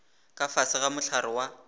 ka fase ga mohlare wa